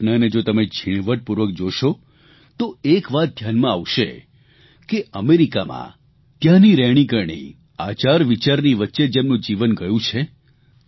આ ઘટનાને જો તમે ઝીણવટપૂર્વક જોશો તો એક વાત ઘ્યાનમાં આવશે કે અમેરિકામાં ત્યાંની રહેણીકરણી આચારવિચારની વચ્ચે જેમનું જીવન ગયું છે